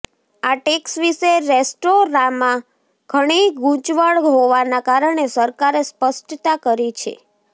આ ટેક્સ વિશે રેસ્ટોરાંમાં ઘણી ગુંચવણ હોવાના કારણે સરકારે સ્પષ્ટતા કરી છે